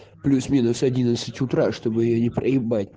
плюс-минус одиннадцать утра чтобы её не проебать